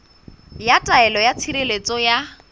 ya taelo ya tshireletso ya